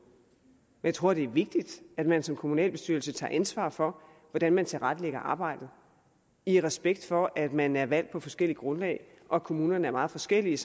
jeg tror det er vigtigt at man som kommunalbestyrelse tager ansvar for hvordan man tilrettelægger arbejdet i respekt for at man er valgt på nogle forskellige grundlag og at kommunerne er meget forskellige